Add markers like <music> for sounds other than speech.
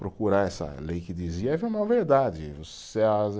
Procurar essa lei que dizia <unintelligible> uma verdade. <unintelligible>